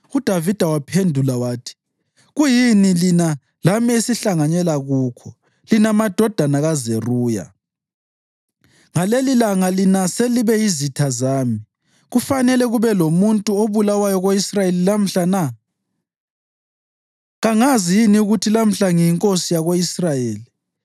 UDavida waphendula wathi, “Kuyini lina lami esihlanganyela kukho, lina madodana kaZeruya? Ngalelilanga lina selibe yizitha zami! Kufanele kube lomuntu obulawayo ko-Israyeli lamhla na? Kangazi yini ukuthi lamhla ngiyinkosi yako-Israyeli?”